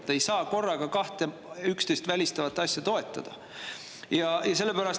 Te ei saa korraga kahte teineteist välistavat asja toetada.